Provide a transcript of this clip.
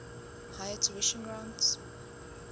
higher tuition grants